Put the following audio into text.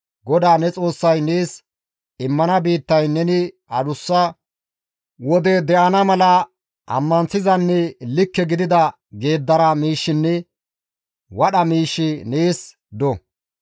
GODAA ne Xoossay nees immana biittayn neni adussa wode de7ana mala ammanththizanne likke gidida geeddara miishshinne wadha miishshi nees do.